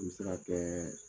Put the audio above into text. N mi se ka kɛ